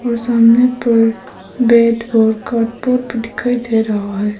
और सामने पर बैट और कार्डबोर्ड भी दिखाई दे रहा है।